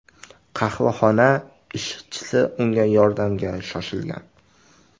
Qahvaxona ishchisi unga yordamga shoshilgan.